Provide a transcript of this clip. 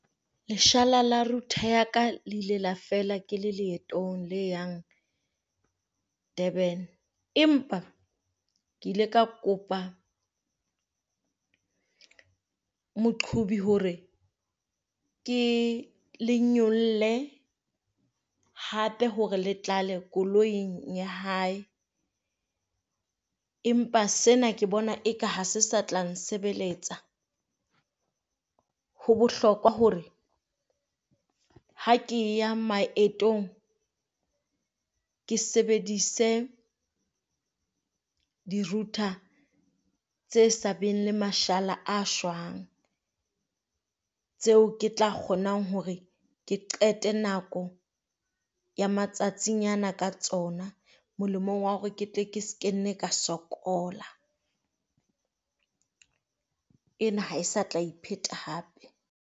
Leshala la router ya ka le ile la fela ke le leetong le yang Durban, empa ke ile ka kopa moqhobi hore ke le nyolle hape hore le tlale koloing ya hae. Empa sena ke bona eka ha se sa tla nsebeletsa, ho bohlokwa hore ha ke ya maetong ke sebedise di router tse sa beng le mashala a shwang, tseo ke tla kgonang hore ke qete nako ya matsatsing ana ka tsona, molemong wa hore ke tle ke se ke nne ka sokola. Ena ha se tla pheta hape.